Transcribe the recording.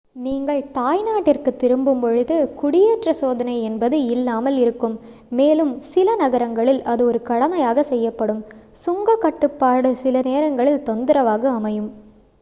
நீங்கள் தாய் நாட்டிற்கு திரும்பும் பொழுது குடியேற்ற சோதனை என்பது இல்லாமல் இருக்கும் மேலும் சில நேரங்களில் அது ஒரு கடமையாக செய்யப்படும் சுங்க கட்டுப்பாடு சில நேரங்களில் தொந்தரவாக அமையும்